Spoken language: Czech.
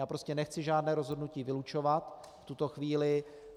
Já prostě nechci žádné rozhodnutí vylučovat v tuto chvíli.